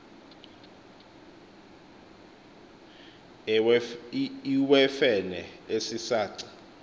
iwewfene esi saci